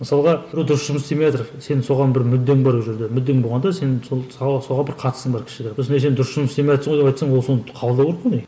мысалға біреу дұрыс жұмыс істемейатыр сен соған бір мүддең бар ол жерде мүддең болғанда сен сол соған бір қатысың бар кішігірім ой сен дұрыс жұмыс істемейатсың ғой деп айтсаң ол соны қабылдау керек қой